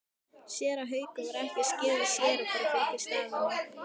Séra Haukur var ekki skírður séra en það fylgir starfinu.